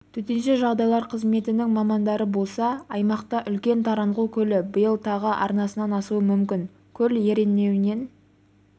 төтенше жағдайлар қызметінің мамандары болса аймақта үлкен таранғұл көлі биыл тағы арнасынан асуы мүмкін көл ернеуінен